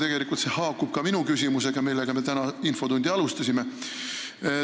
Tegelikult see haakub ka minu küsimuse teemaga, millega me täna infotundi alustasime.